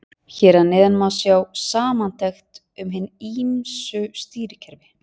Hér að neðan má sjá samantekt um hin ýmsu stýrikerfi.